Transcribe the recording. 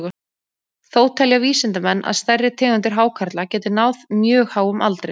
Þó telja vísindamenn að stærri tegundir hákarla geti náð mjög háum aldri.